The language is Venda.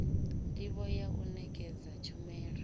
ndivho ya u nekedza tshumelo